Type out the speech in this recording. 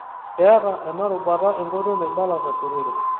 Keeta ena rubata enkoitoi naibala naisiriri.